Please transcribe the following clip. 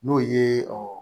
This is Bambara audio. N'o ye